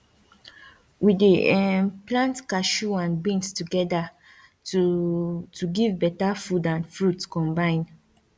we dey um plant cashew and beans together to to give beta food and fruit combine